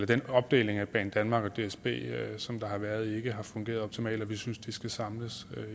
den opdeling af banedanmark og dsb som der har været ikke har fungeret optimalt og vi synes at de skal samles